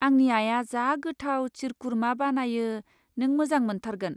आंनि आइया जा गोथाव शिरकुरमा बानायो, नों मोजां मोनथारगोन।